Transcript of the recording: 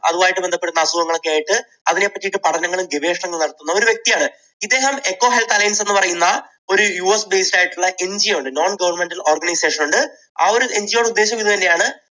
അതുമായിട്ട് ബന്ധപ്പെടുന്ന അസുഖങ്ങൾ ഒക്കെ ആയിട്ട് അതിനെപ്പറ്റി പഠനങ്ങളും ഗവേഷണങ്ങളും നടത്തുന്ന ഒരു വ്യക്തിയാണ്. ഇദ്ദേഹം എക്കോ ഹെൽത്ത് അലയൻസ് എന്ന് പറയുന്ന ഒരു യു എസ് based ആയിട്ടുള്ള NGO ഉണ്ട് non governmental organization ഉണ്ട്. ആ ഒരു NGO യുടെ ഉദ്ദേശം ഇതു തന്നെയാണ്